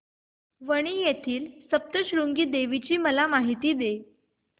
वणी येथील सप्तशृंगी देवी ची मला माहिती दे